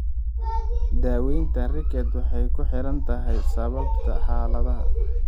Daaweynta rickets waxay ku xiran tahay sababta xaaladda.